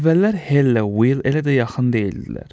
Əvvəllər Helllə Will elə də yaxın deyildilər.